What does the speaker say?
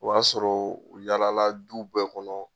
O y'a sɔrɔ u yaalala du bɛɛ kɔnɔ